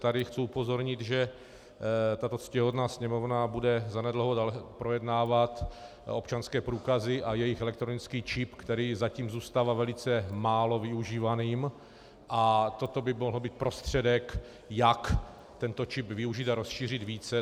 Tady chci upozornit, že tato ctihodná Sněmovna bude zanedlouho projednávat občanské průkazy a jejich elektronický čip, který zatím zůstává velice málo využívaným, a toto by mohl být prostředek, jak tento čip využít a rozšířit více.